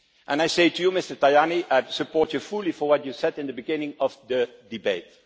I say to you Mr Tajani, I support you fully in what you said at the beginning of the debate.